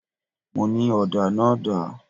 Mo ní: Ọ̀dà náà dà?